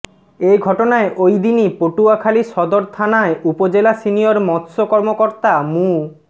এ ঘটনায় ওই দিনই পটুয়াখালী সদর থানায় উপজেলা সিনিয়র মৎস্য কর্মকর্তা মু